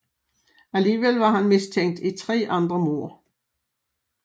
Alligevel var han mistænkt i tre andre mord